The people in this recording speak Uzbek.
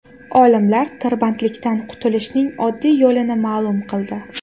Olimlar tirbandliklardan qutulishning oddiy yo‘lini ma’lum qildi.